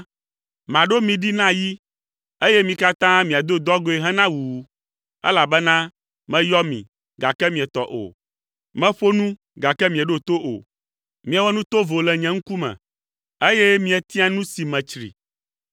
maɖo mi ɖi na yi, eye mi katã miado dɔgɔ̃e hena wuwu, elabena meyɔ mi gake mietɔ o. Meƒo nu gake mieɖo to o. Miewɔ nu tovo le nye ŋkume, eye mietia nu si metsri.”